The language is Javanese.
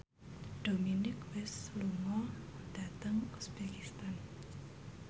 Dominic West lunga dhateng uzbekistan